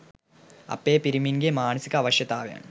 අපේ පිරිමින්ගේ මානසික අවශ්‍යතාවන්